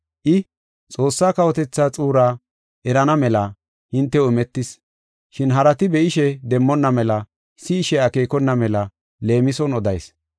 I, “Xoossaa kawotethaa xuuraa erana mela hintew imetis. Shin harati be7ishe demmonna mela, si7ishe akeekona mela leemison odayis.